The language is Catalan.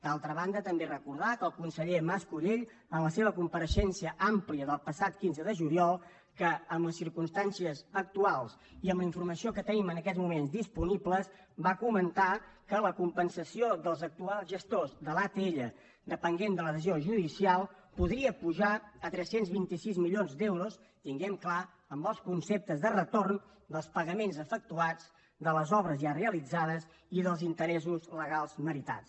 d’altra banda també recordar que el conseller mascolell en la seva compareixença àmplia del passat quinze de juliol que en les circumstàncies actuals i amb la informació que tenim en aquests moments disponible va comentar que la compensació dels actuals gestors de l’atll depenent de la decisió judicial podria pujar a tres cents i vint sis milions d’euros tinguem ho clar amb els conceptes de retorn dels pagaments efectuats de les obres ja realitzades i dels interessos legals meritats